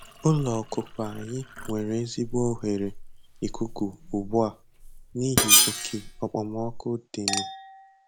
Ụlọ ọkụkụ anyị nwere ezigbo oghere ikuku ugbu a n'ihi oke okpomọkụ dịnụ